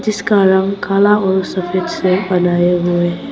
इसका रंग काला और सफेद से बनाए हुए हैं।